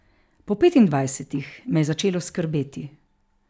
Po petindvajsetih me je začelo skrbeti.